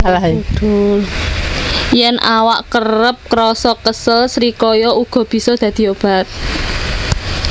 Yèn awak kerep krasa kesel srikaya uga bisa dadi obat